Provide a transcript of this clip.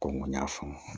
Ko n ko n y'a faamu